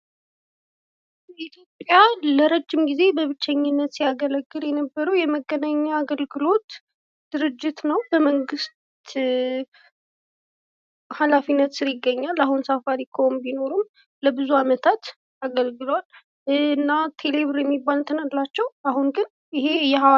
ኢትዮጵያን ለረጅም ጊዜ ሲያገለግል የነበረው የመገናኛ አገልግሎት ድርጅት ነው። በመንግስት ሀላፊነት ስር ይገኛል። አሁን ሳፋሪኮም ቢኖርም ለብዙ አመታት አገልግሏል። እና ቴሌብር የሚባል አላቸው አሁን ግን።